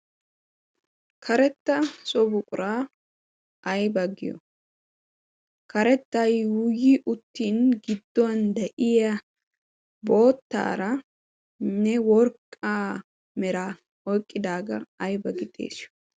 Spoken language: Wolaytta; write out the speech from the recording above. karetta sobuqura ai baggiyo karetta yuuuyi uttin giddon de7iya boottaarainne worqqa mera oiqqidaagaa ai baggi xeessiyo?